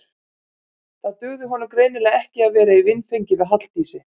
Það dugði honum greinilega ekki að vera í vinfengi við Halldísi.